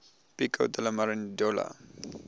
pico della mirandola